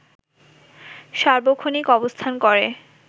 সার্বক্ষণিক অবস্থান করে